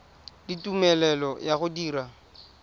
le tumelelo ya go dira